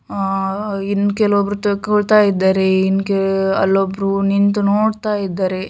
ಆಹ್ ಇನ್ನೂ ಕೆಲವೊಬ್ಬರು ತೆಗೆದುಕೊಳ್ಳುತ್ತಿದ್ಧಾರೆ ಇನ್ ಅಲ್ಲಿ ಒಬ್ಬರೂ ನಿಂತು ನೋಡ್ತಾ ಇದ್ದಾರೆ.